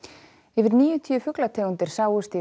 yfir níutíu fuglategundir sáust